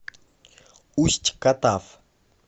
усть катав